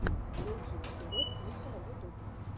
лучший эпизод мистера ютуб